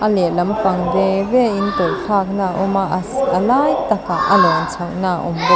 a leh lampang ve ve in tawlh thlakna a awm a a si a lai takah a lawn chhohna a awm bawk.